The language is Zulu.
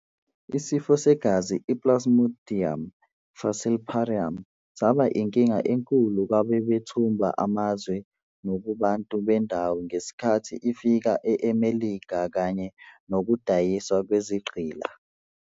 isifo segazi i-Plasmodium falciparum saba inkinga enkulu kwababethumba amazwe nakubantu bendawo ngesikhathi ifika eMelika kanye nokudayiswa kwezigqila.